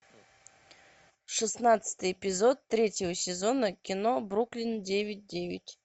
шестнадцатый эпизод третьего сезона кино бруклин девять девять